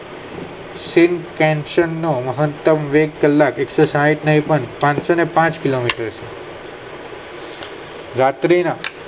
મહત્તમ વેગ કલાક એકસો સાહિંટ નય પણ ત્રણોસો ને પાંચ કલાક હોય રાત્રી ના